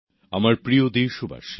নতুনদিল্লি ৩১শে জানুয়ারি ২০২১